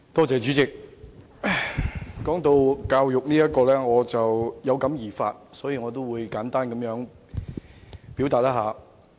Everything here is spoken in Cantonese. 主席，談到教育問題，我有感而發，想簡單表達我的意見。